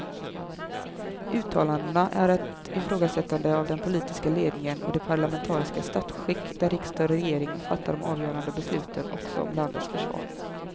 Uttalandena är ett ifrågasättande av den politiska ledningen och det parlamentariska statsskick där riksdag och regering fattar de avgörande besluten också om landets försvar.